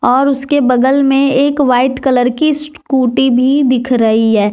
और उसके बगल में एक वाइट कलर की स्कूटी भी दिख रही है।